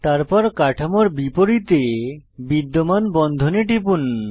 তারপর কাঠামোর বিপরীত়ে বিদ্যমান বন্ধনে টিপুন